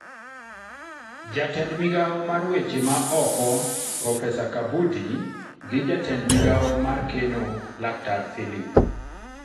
Jatend migawo mar weche ma ok profesa Kabudi gi jatend migawo mar keno laktar filip